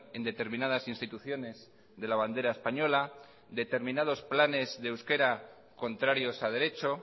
en determinadas instituciones de la bandera española determinados planes de euskera contrarios a derecho